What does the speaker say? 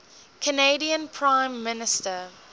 canadian prime minister